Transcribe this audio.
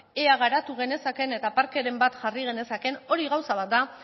ea garatu genezaken eta parkeren bat jarri genezaken hori gauza bat da